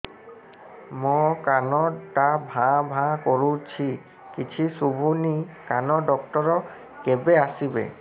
ମୋ କାନ ଟା ଭାଁ ଭାଁ କରୁଛି କିଛି ଶୁଭୁନି କାନ ଡକ୍ଟର କେବେ ଆସିବେ